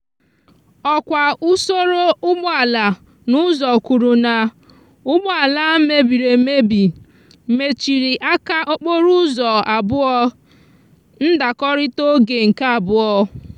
òkwa usoro úgbòala n'úzò kwuru na úgbòala mebiri emebi mechiri aka okporo úzò abúò—ndakorita oge nke abúò.